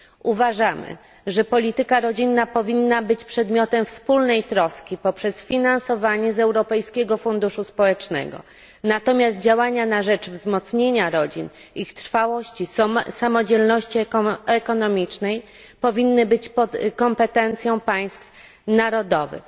Uważamy, że polityka rodzinna powinna być przedmiotem wspólnej troski poprzez finansowanie z Europejskiego Funduszu Społecznego, natomiast działania na rzecz wzmocnienia rodzin, ich trwałości i samodzielności ekonomicznej powinny leżeć w kompetencji państw narodowych.